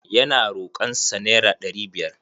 Ya na rokon sa naira ɗari biyar.